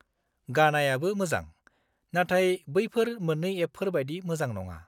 गानायाबो मोजां, नाथाय बैफोर मोन्नै एपफोर बायदि मोजां नङा।